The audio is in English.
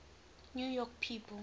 new york people